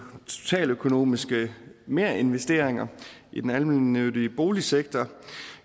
totaløkonomiske merinvesteringer i den almennyttige boligsektor